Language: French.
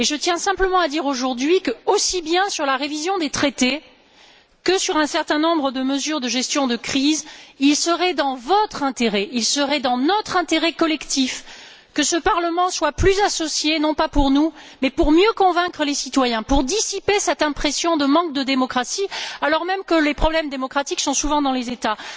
Je tiens simplement à dire aujourd'hui que aussi bien sur la révision des traités que sur un certain nombre de mesures de gestion de crise, il serait dans votre intérêt, il serait dans notre intérêt collectif que ce Parlement soit plus associé, non pas pour nous, mais pour mieux convaincre les citoyens, pour dissiper cette impression de manque de démocratie alors même que les problèmes démocratiques sont souvent dans les États.